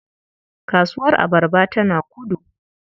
Kasuwar abarba tana Kudu.